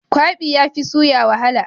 Kwabi yafi suya wahala.